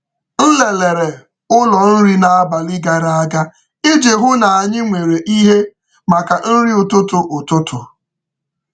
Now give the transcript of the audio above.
M lelere ụlọ nri n’abalị gara aga iji hụ na anyị nwere ihe maka nri ụtụtụ. ụtụtụ.